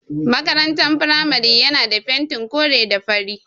Makarantar firamare yana da fentin kore da fari.